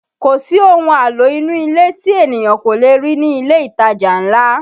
Kò sí ohun àlò inú ilé tí ènìyàn kò le rí ní ilé ìtajà ńlá